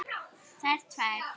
Þær tvær.